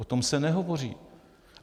O tom se nehovoří.